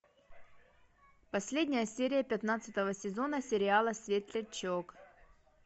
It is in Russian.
последняя серия пятнадцатого сезона сериала светлячок